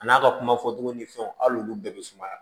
A n'a ka kuma fɔ togo ni fɛnw hali olu bɛɛ be sumaya